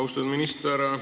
Austatud minister!